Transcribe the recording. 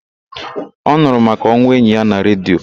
Ọ nụrụ maka onwụ enyi ya na redio.